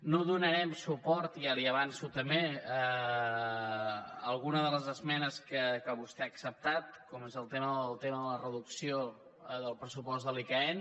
no donarem suport ja li ho avanço també a algunes de les esmenes que vostè ha acceptat com és el tema de la reducció del pressupost de l’icaen